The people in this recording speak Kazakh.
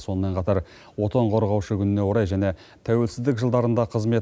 сонымен қатар отан қорғаушы күніне орай және тәуелсіздік жылдарында қызмет